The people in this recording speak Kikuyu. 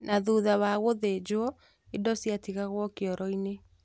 Na thutha wa gũthĩnjwo indo ciatigagwo kioroinĩ